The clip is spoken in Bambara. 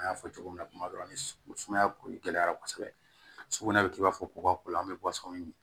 An y'a fɔ cogo min na kuma dɔ la ni sumaya ko gɛlɛyara kosɛbɛ sugunɛ kɛ i b'a fɔ ko an bɛ bɔ sɔni